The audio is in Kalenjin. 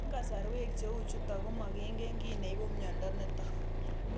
Eng' kasarwek cheu chutok ko makingen kiy neipu miondo nitok